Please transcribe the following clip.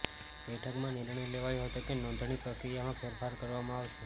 બેઠકમાં નિર્ણય લેવાયો હતો કે નોંધણી પ્રક્રિયામાં ફેરફાર કરવામાં આવશે